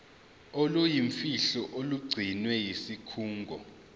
oluyimfihlo olugcinwe yisikhungo